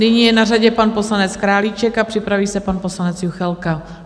Nyní je na řadě pan poslanec Králíček a připraví se pan poslanec Juchelka.